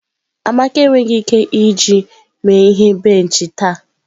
Amaka enweghị ike iji mee ihe benchi taa.